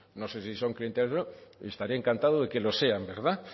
no sé si son clientelares o no estaría encantado de que lo sean verdad